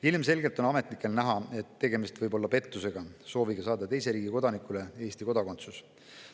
Ilmselgelt on siis ametnikele näha, et tegemist võib olla pettusega, sooviga saada teise riigi kodanikule Eesti kodakondsus.